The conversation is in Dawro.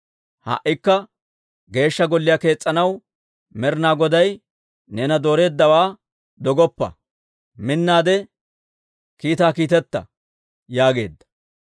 Ha"ikka Geeshsha Golliyaa kees's'anaw Med'inaa Goday neena dooreeddawaa dogoppa. Minnaade kiitaa kiiteta» yaageedda.